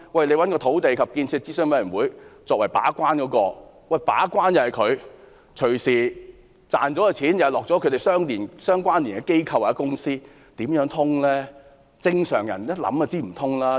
政府找土地及建設諮詢委員會來為計劃把關，但所賺的錢隨時也是落入與委員有關連的機構或公司的口袋，怎說得通呢？